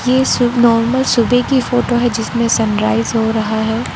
ये शुभ नॉर्मल सुबह की फोटो है जिसमें सनराइज हो रहा है।